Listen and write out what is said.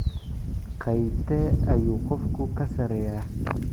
Qaybtee ayuu qofku ka sarreeyaa?